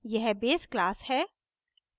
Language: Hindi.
यह base class है